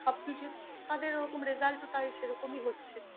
সবকিছু তোমাদের ওরকম result -ও তাই সেরকমই হচ্ছে